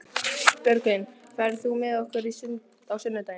Björgvin, ferð þú með okkur á sunnudaginn?